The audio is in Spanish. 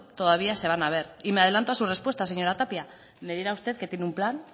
todavía se van a ver y me adelanto a su respuesta señora tapia me dirá usted que tiene un plan